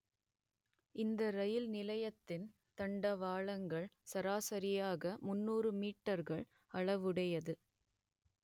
இந்த ரயில் நிலையத்தின் தண்டவாளங்கள் சராசரியாக முன்னூறு மீட்டர்கள் அளவுடையது